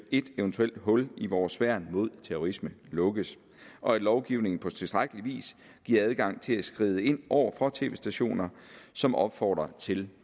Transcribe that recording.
et eventuelt hul i vores værn mod terrorisme lukkes og at lovgivningen på tilstrækkelig vis giver adgang til at skride ind over for tv stationer som opfordrer til